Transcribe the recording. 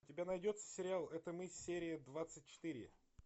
у тебя найдется сериал это мы серия двадцать четыре